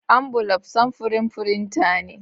Ambulaf samfurin firinta ne.